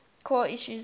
core issues in ethics